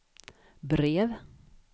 brev